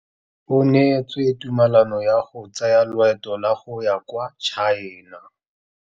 O neetswe tumalanô ya go tsaya loetô la go ya kwa China.